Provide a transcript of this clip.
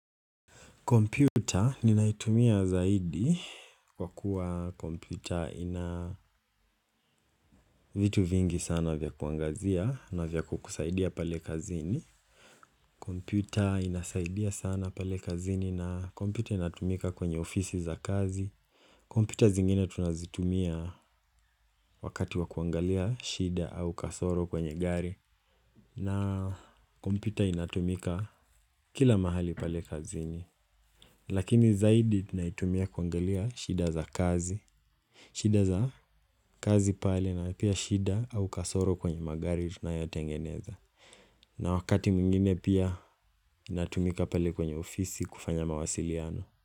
Kompyuta ninaitumia zaidi kwa kuwa kompyuta ina vitu vingi sana vya kuangazia na vya kukusaidia pale kazini. Komputa inasaidia sana pale kazini na komputa inatumika kwenye ofisi za kazi. Kompyuta zingine tunazitumia wakati wakuangalia shida au kasoro kwenye gari. Na komputa inatumika kila mahali pale kazini. Lakini zaidi naitumia kuangalia shida za kazi shida za kazi pale na pia shida au kasoro kwenye magari tunayotengeneza na wakati mwingine pia natumika pale kwenye ofisi kufanya mawasiliano.